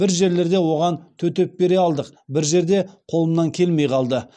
бір жерлерде оған төтеп бере алдық бір жерде қолымнан келмей қалды